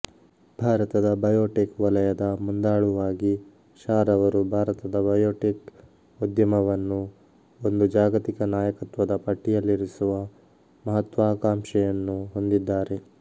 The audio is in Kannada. ಭಾರತದ ಬಯೋಟೆಕ್ ವಲಯದ ಮುಂದಾಳುವಾಗಿ ಶಾರವರು ಭಾರತದ ಬಯೋಟೆಕ್ ಉದ್ಯಮವನ್ನು ಒಂದು ಜಾಗತಿಕ ನಾಯಕತ್ವದ ಪಟ್ಟಿಯಲ್ಲಿರಿಸುವ ಮಹತ್ವಾಕಾಂಕ್ಷೆಯನ್ನು ಹೊಂದಿದ್ದಾರೆ